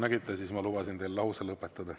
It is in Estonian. Nagu te nägite, siis ma lubasin teil lause lõpetada.